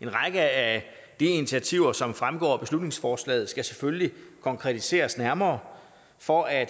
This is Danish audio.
en række af de initiativer som fremgår af beslutningsforslaget skal selvfølgelig konkretiseres nærmere for at